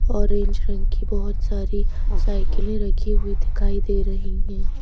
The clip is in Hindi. ऑरेंज रंग की बहुत सारी साइकिलें रखी हुई दिखाई दे रही हैं।